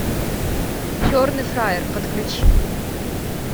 черный фраер подключи